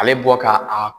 Ale bɔ ka a